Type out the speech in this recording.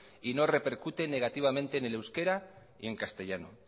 y no repercute negativamente en el euskera ni en castellano